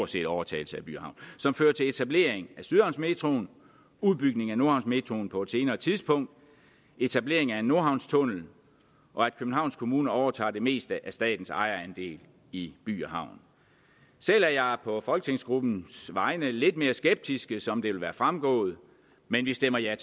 set overtagelse af by havn som fører til etablering af sydhavnsmetroen udbygning af nordhavnsmetroen på et senere tidspunkt etablering af en nordhavnstunnel og at københavns kommune overtager det meste af statens ejerandel i by havn selv er jeg på folketingsgruppens vegne lidt mere skeptisk som det vil være fremgået men vi stemmer ja